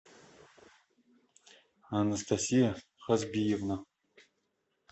анастасия хазбиевна